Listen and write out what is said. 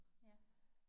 Ja